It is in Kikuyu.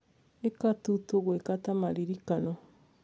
Ĩka tũ tũgwĩka ta maririkano.